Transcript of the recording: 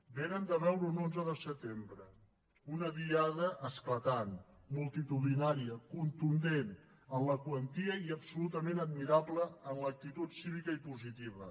vénen de veure un onze de setembre una diada esclatant multitudinària contundent en la quantia i absolutament admirable en l’actitud cívica i positiva